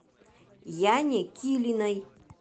яне килиной